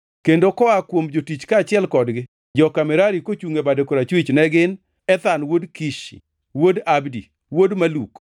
kendo koa kuom jotich kaachiel kodgi, joka Merari kochungʼ e bade koracham ne gin: Ethan wuod Kishi, wuod Abdi, wuod Maluk,